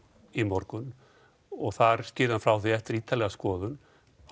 í morgun og þar skýrði hann frá því að eftir ítarlega skoðun